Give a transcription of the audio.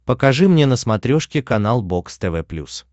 покажи мне на смотрешке канал бокс тв плюс